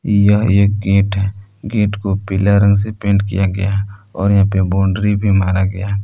यह एक गेट है गेट को पीला रंग से पेंट किया गया है और यहां पे बाउंड्री भी मारा गया है।